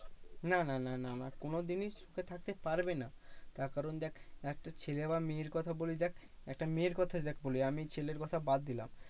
না না না না না কোনোদিনই সুখে থাকতে পারবে না। তার কারণ দেখ, একটা ছেলে বা মেয়ের কথা বলি দেখ। একটা মেয়ের কথাই দেখ বলি আমি ছেলের কথা বাদ দিলাম।